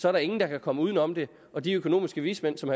er der ingen der kan komme uden om det og de økonomiske vismænd som